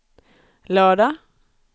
lördag